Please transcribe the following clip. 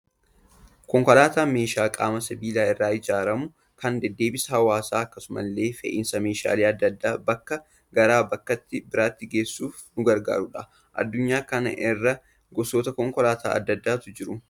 Konkolaataan meeshaa qaama sibiilaa irraa ijaaramu, kan deddeebisa hawaasaaf akkasuma illee fe'iisa meeshaalee addaa addaa bakkaa gara bakka biraatti geessuuf nu gargaarudha. Addunyaa kana irra gosoota konkolaataa addaa addaatu jiru.